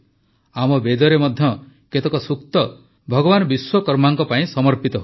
ଆମ ବେଦରେ ମଧ୍ୟ କେତେକ ସୂକ୍ତ ଭଗବାନ ବିଶ୍ୱକର୍ମାଙ୍କ ପାଇଁ ସମର୍ପିତ ହୋଇଛି